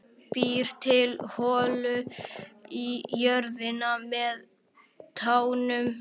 Býr til holu í jörðina með tánum.